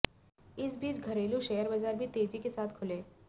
इस बीच घरेलू शेेयर बाजार भी तेजी के साथ खुले